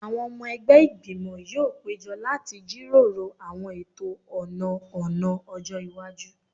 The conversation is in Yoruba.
Àwọn ọmọ ẹgbẹ́ Ìgbìmọ̀ yóò péjọ láti jíròrò àwọn ètò ọ̀nà ọ̀nà ọjọ́ iwájú